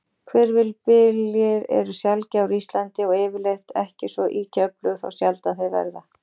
Hvirfilbyljir eru sjaldgæfir á Íslandi, og yfirleitt ekki svo ýkja öflugir þá sjaldan þeir verða.